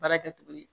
Baara kɛcogo ye